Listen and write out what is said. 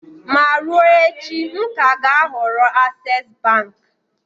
Ma ruo echi, m ka ga-ahọrọ access bank.